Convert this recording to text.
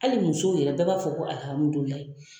Hali musow yɛrɛ bɛɛ b'a fɔ ko